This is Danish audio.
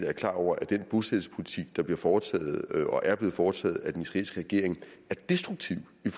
er klar over at den bosættelsespolitik der bliver foretaget og er blevet foretaget af den israelske regering er destruktiv i